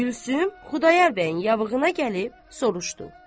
Gülsüm Xudayar bəyin yabağına gəlib soruşdu.